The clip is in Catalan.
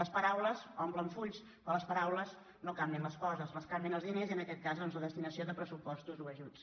les paraules omplen fulls però les pa·raules no canvien les coses les canvien els diners i en aquest cas doncs la destinació de pressupostos o ajuts